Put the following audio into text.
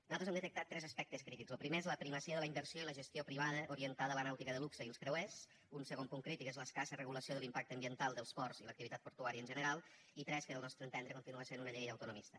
nosaltres hem detectat tres aspectes crítics lo primer és la primacia de la inversió i la gestió privada orientada a la nàutica de luxe i els creuers un segon punt crític és l’escassa regulació de l’impacte ambiental dels ports i l’activitat portuària en general i tres que al nostre entendre continua sent una llei autonomista